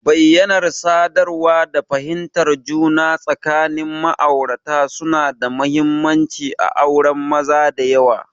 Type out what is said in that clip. Bayyanar sadarwa da fahimtar juna tsakanin ma'aurata suna da mahimmanci a auren maza da yawa.